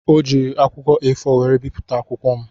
O jiiri akwụkwọ A4 were bipụta akwụkwọ m.